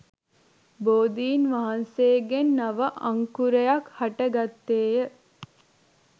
බෝධීන් වහන්සේගෙන් නව අංකුරයක් හට ගත්තේ ය.